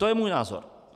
To je můj názor.